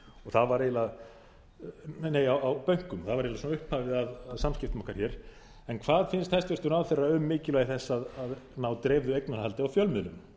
það var eiginlega upphafið að samskiptum okkar hér en hvað finnst hæstvirtur ráðherra um mikilvægi þess að ná dreifðu eignarhaldi á fjölmiðlum